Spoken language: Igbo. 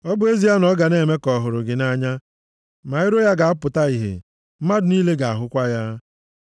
Ọ bụ ezie na ọ ga na-eme ka ọ hụrụ gị nʼanya, ma iro ya ga-apụta ihe, mmadụ niile ga-ahụkwa ya.